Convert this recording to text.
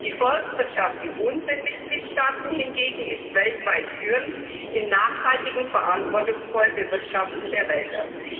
Die Forstwirtschaft in unseren Mitgliedstaaten hingegen ist weltweit führend im nachhaltigen, verantwortungsvollen Bewirtschaften der Wälder.